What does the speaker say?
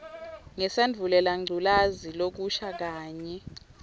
ngesandvulelangculazi lokusha kanye